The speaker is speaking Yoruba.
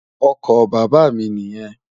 Ọkọ bàbá mi niyen.